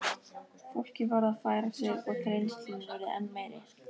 Fólkið varð að færa sig og þrengslin urðu enn meiri.